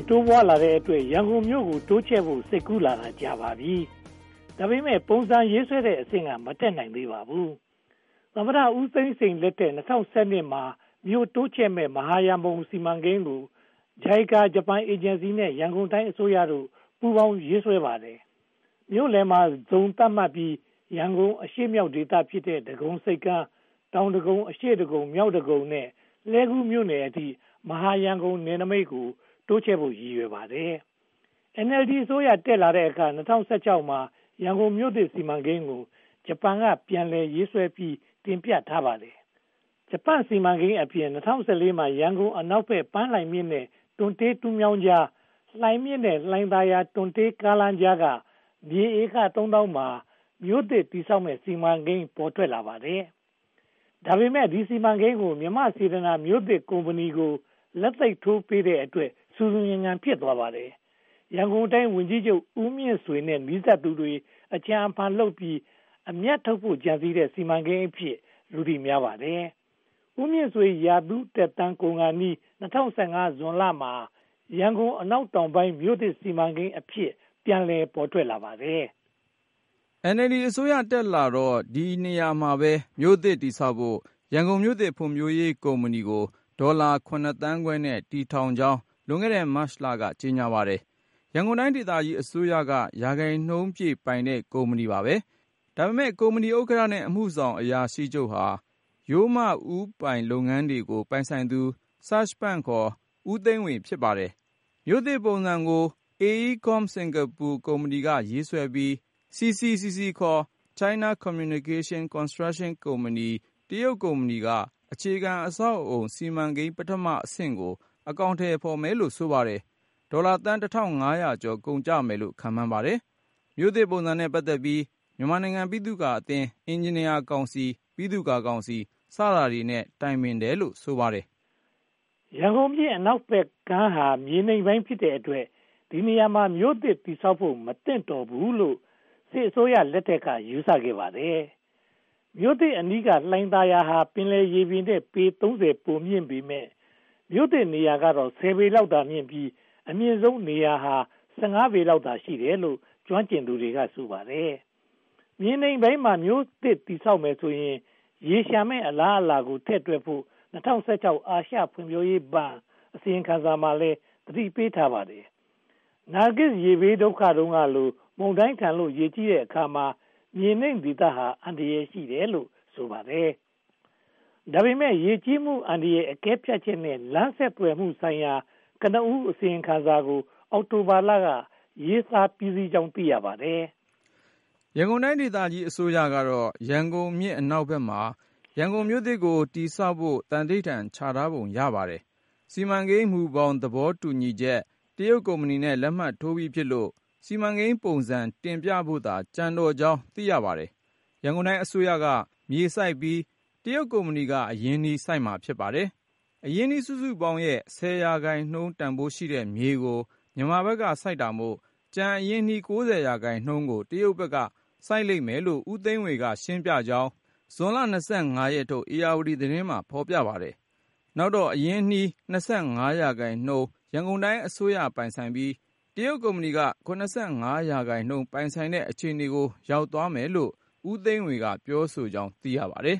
းတိုးပွားလာတဲ့အတွက် ရန်ကုန်မြို့ကို တိုးချဲ့ဖို့စိတ်ကူးလာတာ ကြာပါပြီ။ ဒါပေမဲ့ ပုံစံရေးဆွဲတဲ့အဆင့်က မတက်နိုင်သေးပါဘူး။ သမ္မတဦးသိန်းစိန်လက်ထက် ၂၀၁၂ မှာ မြို့တိုးချဲ့မယ့် မဟာရန်ကုန်စီမံကိန်းကို JICA ဂျပန်အေဂျင်စီနဲ့ ရန်ကုန်တိုင်းအစိုးရတို့ ပူးတွဲရေးဆွဲခဲ့ပါတယ်။ မြို့လယ်မှာ ဇုန်သတ်မှတ်ပြီး ရန်ကုန်အရှေ့မြောက်ဒေသဖြစ်တဲ့ ဒဂုံဆိပ်ကမ်း၊ တောင်ဒဂုံ၊ အရှေ့ဒဂုံ၊ မြောက်ဒဂုံနဲ့ လှည်ကူးမြို့နယ်အထိ မဟာရန်ကုန်နယ်နိမိတ်ကို တိုးချဲ့ဖို့ရည်ရွယ်ပါတယ်။ NLD အစိုးရတက်လာတဲ့အခါ ၂၀၁၆ မှာ ရန်ကုန်မြို့သစ်စီမံကိန်းကို ဂျပန်က ပြန်လည်ရေးဆွဲပြီး တင်ပြထားပါတယ်။ ဂျပန်စီမံကိန်းအပြင် ၂၀၁၄ မှာ ရန်ကုန်အနောက်ဘက် ပန်းလှိုင်မြစ်နဲ့ တွံတေးတူးမြောင်းကြား၊ လှိုင်မြစ်နဲ့ လှိုင်သာယာ တွံတေးကားလမ်းကြားက မြေဧက သုံးသောင်းမှာ မြို့သစ်တည်မယ့်စီမံကိန်း ပေါ်ထွက်လာပါတယ်။ ဒါပေမဲ့ ဒီ စီမံကိန်းကို မြန်မာ့စေတနာ မြို့သစ်ကုမ္ပဏီကို လက်သိပ်ထိုးပေးထားတဲ့အတွက် ဆူဆူညံညံ ဖြစ်သွားပါတယ်။ ရန်ကုန်တိုင်းဝန်ကြီးချုပ် ဦးမြင့်ဆွေနဲ့ နီးစပ်သူတွေ အကြံအဖန်လုပ်ပြီး အမြတ်ထုတ်ဖို့ ကြံစည်တဲ့ စီမံကိန်းအဖြစ် လူသိများပါတယ်။ ဦးမြင့်ဆွေ ရာထူးသက်တမ်း ကုန်ခါနီး ၂၀၁၅ ဇွန်လမှာ "ရန်ကုန်အနောက်တောင်ပိုင်းမြို့သစ်စီမံကိန်း" အဖြစ် ပြန်ပေါ်လာပါတယ်။ NLD အစိုးရ တက်လာတော့ ဒီနေရာမှာပဲ မြို့သစ်တည်ဆောက်ဖို့ "ရန်ကုန်မြို့သစ် ဖွံ့ဖြိုးရေးကုမ္ပဏီ" ကို ဒေါ်လာ (၇) သန်းခွဲနဲ့ တည်ထောင်ကြောင်း လွန်ခဲ့တဲ့ မတ်လက ကြေညာပါတယ်။ ရန်ကုန်တိုင်းဒေသကြီးအစိုးရက ရာခိုင်နှုန်းပြည့်ပိုင်တဲ့ ကုမ္ပဏီပါ။ ဒါပေမဲ့ ကုမ္ပဏီဥက္ကဋ္ဌနဲ့ အမှုဆောင်အရာရှိချုပ်ဟာ ရိုးမဦးပိုင်လုပ်ငန်းတွေကို ပိုင်ဆိုင်သူ Serge Pun (ခေါ်) ဦးသိန်းဝေ ဖြစ်ပါတယ်။ မြို့သစ်ပုံစံကို AECOM Singapore ကုမ္ပဏီက ရေးဆွဲပြီး၊ CCCC (ခေါ်) China Communication Construction Company တရုတ်ကုမ္ပဏီက အခြေခံအဆောက်အအုံ စီမံကိန်းပထမအဆင့်ကို အကောင်အထည်ဖော်မယ်လို့ ဆိုပါတယ်။ ဒေါ်လာသန်း (၁၅၀၀) ကျော် ကုန်ကျမယ်လို့ ခန့်မှန်းထားပါတယ်။ မြို့သစ်ပုံစံနဲ့ ပတ်သက်ပြီး မြန်မာနိုင်ငံပိသုကာအသင်း၊ အင်ဂျင်နီယာကောင်စီ၊ ပိသုကာကောင်စီ စတာတွေနဲ့ တိုင်ပင်ထားတယ်လို့ ဆိုပါတယ်။ ရန်ကုန်မြို့အနောက်ဘက်ကမ်းဟာ မြေနိမ့်ပိုင်းဖြစ်တဲ့အတွက် ဒီနေရာမှာ မြို့သစ်တည်ဆောက်ဖို့ မသင့်တော်ဘူးလို့ စစ်အစိုးရလက်ထက်က ယူဆခဲ့ပါတယ်။ မြို့သစ်အနီးက လှိုင်သာယာဟာ ပင်လယ်ရေပြင်ထက် ပေ (၃၀) ပိုမြင့်ပေမယ့် မြို့သစ်နေရာကတော့ (၁၀) ပေလောက်သာမြင့်ပြီး အမြင့်ဆုံးနေရာဟာ (၁၅) ပေလောက်သာ ရှိတယ်လို့ ကျွမ်းကျင်သူတွေက ဆိုပါတယ်။ မြေနိမ့်ပိုင်းမှာ မြို့သစ်တည်ဆောက်မယ်ဆိုရင် ရေလျှံမယ့်အလားအလာတွေကို ထည့်တွက်ဖို့ ၂၀၁၆ အာရှဖွံဖြိုးရေးဘဏ် အစီရင်ခံစာမှာလည်း သတိပေးထားပါတယ်။ နာဂစ်ရေဘေးတုန်းကလို မုန်တိုင်းထန်လို့ ရေကြီးတဲ့အခါမှာ မြေနိမ့်ဒေသဟာ အန္တရာယ်ရှိတယ်လို့ ဆိုပါတယ်။ ဒါပေမဲ့ ရေကြီးမှုအန္တရာယ်အကဲဖြတ်ချက်နဲ့ လမ်းဆက်သွယ်မှုဆိုင်ရာ ကနဦးအစီရင်ခံစာကို အောက်တိုဘာလက ရေးသားပြီးစီးကြောင်း သိရပါတယ်။ ရန်ကုန်တိုင်းဒေသကြီးအစိုးရကတော့ ရန်ကုန်မြစ်အနောက်ဘက်မှာ ရန်ကုန်မြို့သစ်ကို တည်ဆောက်ဖို့ သိန္နိဌာန် ချထားပုံရပါတယ်။ စီမံကိန်းမူဘောင်သဘောတူညီချက် တရုတ်ကုမ္ပဏီနဲ့ လက်မှတ်ရေးထိုးပြီးဖြစ်လို့ စီမံကိန်းပုံစံတင်ပြဖို့သာ ကျန်တော့ကြောင်း သိရပါတယ်။ ရန်ကုန်တိုင်းအစိုးရက မြေစိုက်ပြီး တရုတ်ကုမ္ပဏီက အရင်းအနှီးစိုက်မှာ ဖြစ်ပါတယ်။ အရင်းအနှီးစုစုပေါင်းရဲ့ (၁၀) ရာခိုင်နှုန်းတန်းဖိုးရှိတဲ့မြေကို မြန်မာဘက်ကစိုက်တာမို့ ကျန်အရင်းအနှီး (၉၀) ရာခိုင်နှုန်းကို တရုတ်ဘက်က စိုက်လိမ့်မယ်လို့ ဦးသိန်းဝေ က ရှင်းပြကြောင်း ဇွန်လ (၂၅) ရက်နေ့ထုတ် ဧရာဝတီသတင်းမှာ ဖော်ပြပါတယ်။ နောက်တော့ အရင်းအနှီး (၂၅) ရာခိုင်နှုန်း ရန်ကုန်တိုင်းအစိုးရပိုင်ဆိုင်ပြီး တရုတ်ကုမ္ပဏီက (၇၅) ရာခိုင်နှုန်း ပိုင်ဆိုင်တဲ့ အခြေအနေကို ရောက်သွားမယ်လို့လည်း ဦးသိန်းဝေက ပြောဆိုကြောင်း သိရှိရပါတယ်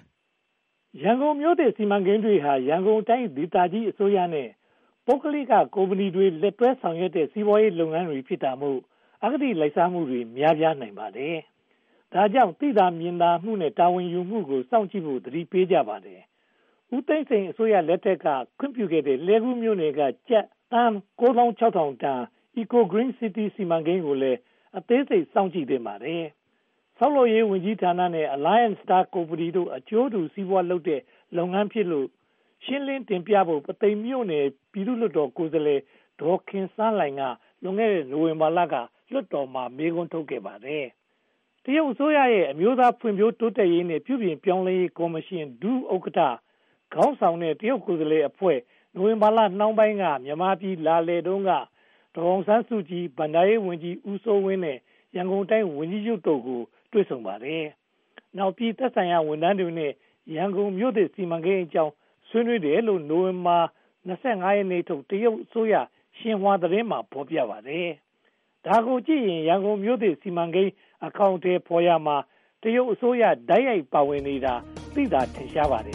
။ ရန်ကုန်မြို့သစ်စီမံကိန်းတွေဟာ ရန်ကုန်တိုင်းဒေသကြီးအစိုးရနဲ့ ပုဂ္ဂလိကကုမ္ပဏီတွေ လက်တွဲဆောင်ရွက်တဲ့ စီးပွားရေးလုပ်ငန်းတွေ ဖြစ်တာမို့ အဂတိလိုက်စားမှုတွေ များပြားနိုင်ပါတယ်။ ဒါကြောင့် သိသာမြင်သာမှုနဲ့ တာဝန်ယူမှုကို စောင့်ကြည့်ဖို့ သတိပေးကြပါတယ်။ ဦးသိန်းစိန်အစိုးရလက်ထက်က ခွင့်ပြုခဲ့တဲ့ လှည်းကူးမြို့နယ်က ကျပ်သန်း (၉၆၀၀၀) တန် Eco Green City စီမံကိန်းကိုလည်း အသေးစိတ်စောင့်ကြည့်သင့်ပါတယ်။ ဆောက်လုပ်ရေးဝန်ကြီးဌာနနဲ့ Alliance Star ကုမ္ပဏီတို့ အကျိုးတူစီးပွားလုပ်တဲ့ စီမံကိန်းဖြစ်လို့ ရှင်းလင်းတင်ပြဖို့လည်း ပုလဲမြို့နယ် ပြည်သူ့လွှတ်တော်ကိုယ်စားလှယ် ဒေါ်ခင်စန်းလှိုင်က လွန်ခဲ့တဲ့ နိုဝင်ဘာလက လွှတ်တော်မှာ မေးခွန်းထုတ်ခဲ့ပါတယ်။ တရုတ်အစိုးရရဲ့ အမျိုးသားဖွံ့ဖြိုးတိုးတက်ရေးနဲ့ ပြုပြင်ပြောင်းလဲရေးကော်မရှင် ဒုဥက္ကဋ္ဌ ခေါင်းဆောင်တဲ့ ကိုယ်စားလှယ်အဖွဲ့ နိုဝင်ဘာလနှောင်းပိုင်းမှာ မြန်မာပြည်လာလည်တုန်းက ဒေါ်အောင်ဆန်းစုကြည်၊ ဘဏ္ဍာရေးဝန်ကြီး ဦးစိုးဝင်းနဲ့ ရန်ကုန်တိုင်းဝန်ကြီးချုပ်တို့နဲ့ တွေ့ဆုံပါတယ်။ နောက်ပိုင်း သက်ဆိုင်ရာဝန်ထမ်းတွေနဲ့ ရန်ကုန်မြို့သစ်စီမံကိန်းအကြောင်း ဆွေးနွေးတယ်လို့ နိုဝင်ဘာလ (၂၅) ရက်ထုတ် တရုတ်အစိုးရ ရှင်ဟွာသတင်းမှာ ဖော်ပြပါတယ်။ ဒါကိုကြည့်ရင် ရန်ကုန်မြို့သစ်စီမံကိန်း အကောင်အထည်ဖော်ရာမှာ တရုတ်အစိုးရ တိုက်ရိုက်ပါဝင်နေတာ သိသာထင်ရှားပါတယ်